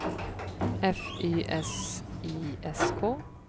F Y S I S K